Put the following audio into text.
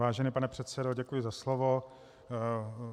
Vážený pane předsedo, děkuji za slovo.